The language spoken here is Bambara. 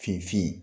Fin fin